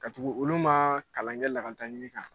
Ka tugu olu ma kalan kɛ lakaletaɲini kan.